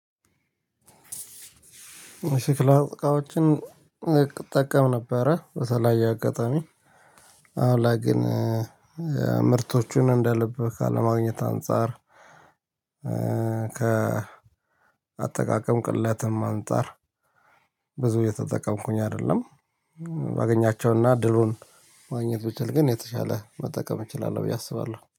የሸክላ እቃወችን እጠቀም ነበረ በዚህ አጋጣሚ አሁን ላይ ግን ምርቶቹን እንደልብ ካለማግኘት አንፃር። ከአጠቃከም ቅለትም አንፃር ብዙ እየተጠቀምኩኝ አይደለም። ባገኛቸውና እድሉን ማግኘት ብችል የተሻለ መጠቀም እችላለው ብየ አስባለው